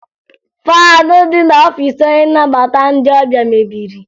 Faanị dị n'ọfiisi onye nnabata ndị ọbịa mebiri